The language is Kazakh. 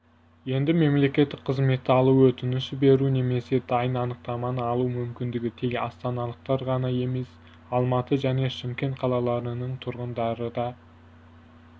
енді мемлекеттік қызметті алуға өтініш беру немесе дайын анықтаманы алу мүмкіндігін тек астаналықтар ғана емес алматы және шымкент қалаларының тұрғындары да